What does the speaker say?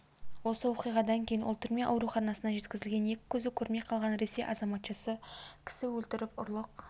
осы оқиғадан кейін ол түрме ауруханасына жеткізілген екі көзі көрмей қалған ресей азаматшасы кісі өлтіріп ұрлық